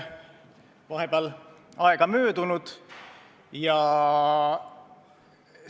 Vahepeal on möödunud poolteist kuud.